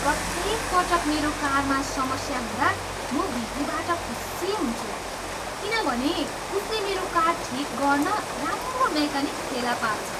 प्रत्येक पटक मेरो कारमा समस्या हुँदा, म भिपीबाट खुसी हुन्छु किनभने उसले मेरो कार ठिक गर्न राम्रो मेकानिक फेला पार्छ।